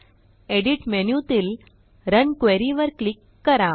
edit menuतील run query वर click करा